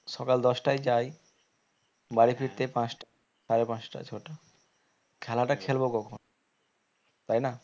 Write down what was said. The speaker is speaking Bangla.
সকাল দশটায় যাই বাড়ি ফিরতে পাঁচটা সাড়ে পাঁচটা ছটা খেলাটা খেলবো কখন তাই না?